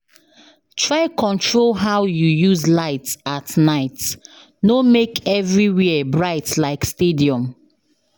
Try control how you use light at night, no make everywhere bright like stadium.